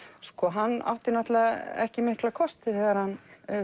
hann átti náttúrulega ekki mikla kosti þegar hann